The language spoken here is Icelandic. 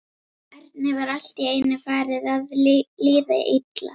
Erni var allt í einu farið að líða illa.